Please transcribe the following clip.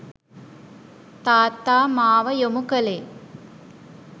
තාත්තා මාව යොමු කළේ